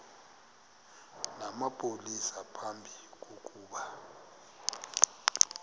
namapolisa phambi kokuba